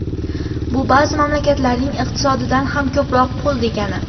Bu ba’zi mamlakatlarning iqtisodidan ham ko‘proq pul degani.